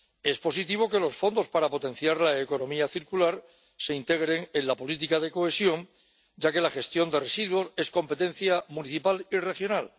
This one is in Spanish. Es positivo que los fondos para potenciar la economía circular se integren en la política de cohesión, ya que la gestión de residuos es competencia municipal y regional.